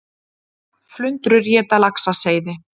Flundrur éta laxaseiði